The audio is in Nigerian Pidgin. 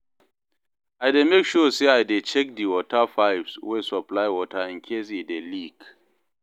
I dey mek sure say I dey check di water pipes wey supply water incase e dey leak